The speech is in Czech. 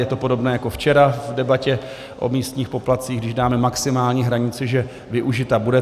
Je to podobné jako včera v debatě o místních poplatcích: když dáme maximální hranici, že využita bude.